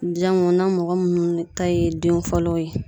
Jan mun na mɔgɔ munnu ta ye den fɔlɔw ye.